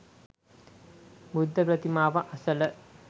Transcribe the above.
බුද්ධ ප්‍රතිමාව අසල